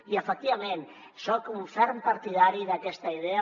i efectivament soc un ferm partidari d’aquesta idea